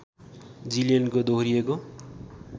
जिलियनको दोहोरिएको